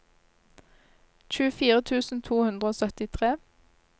tjuefire tusen to hundre og syttitre